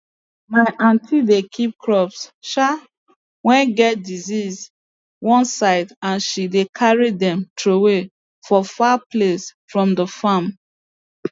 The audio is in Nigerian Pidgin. my aunty dey keep crops um wey get disease one side and she dey carry dem throway for far place from the farm